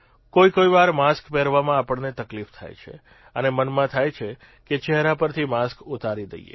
કોઇકોઇવાર mask પહેરવામાં આપણને તકલીફ થાય છે અને મનમાં થાય છે કે ચહેરા પરથી માસ્ક ઉતારી દઇએ